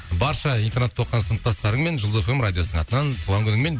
барша интернатта оқыған сыныптастарыңмен жұлдыз эф эм радиосының атынан туған күніңмен